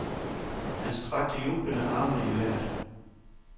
Han strakte jublende armene i vejret.